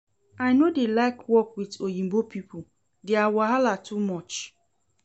I no dey like work with oyinbo people, dia wahala too much